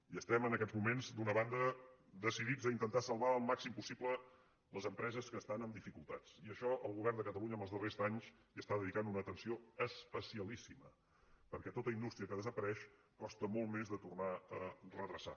i es·tem en aquests moments d’una banda decidits a inten·tar salvar al màxim possible les empreses que estan en dificultats i a això el govern de catalunya en els darrers anys hi dedica una atenció especialíssima per·què tota indústria que desapareix costa molt més de tornar a redreçar